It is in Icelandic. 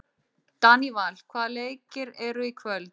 Daníval, hvaða leikir eru í kvöld?